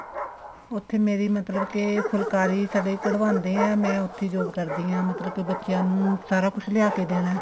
ਉੱਥੇ ਮੇਰੀ ਮਤਲਬ ਕੇ ਫੁਲਕਾਰੀ ਸਾਡੇ ਕਢਵਾਉਦੇ ਹਾਂ ਮੈਂ ਉੱਥੇ job ਕਰਦੀ ਹਾਂ ਮਤਲਬ ਕੇ ਬੱਚਿਆਂ ਨੂੰ ਸਾਰਾ ਕੁੱਝ ਲਿਆ ਕੇ ਦੇਣਾ